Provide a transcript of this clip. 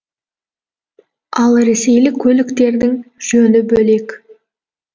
ал ресейлік көліктердің жөні бөлек